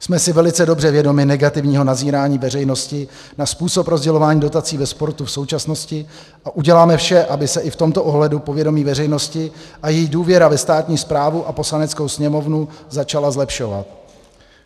Jsme si velice dobře vědomi negativního nazírání veřejnosti na způsob rozdělování dotací ve sportu v současnosti a uděláme vše, aby se i v tomto ohledu povědomí veřejnosti a její důvěra ve státní správu a Poslaneckou sněmovnu začala zlepšovat.